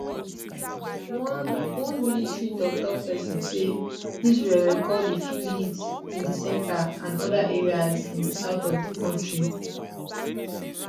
one one military toktok pesin say israel record a few hits in di centre and oda areas in di south of di kontri